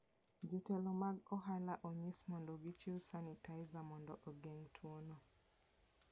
Jotelo mag ohala osenyis mondo gichiw sanitizer mondo ogeng' tuono.